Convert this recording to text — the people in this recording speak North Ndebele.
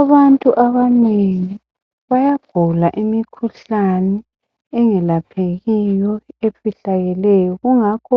abantu abanengi bayagula imikhuhlane engelaphekiyo efihlakeleyo kungakho